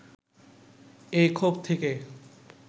এই ক্ষোভ থেকে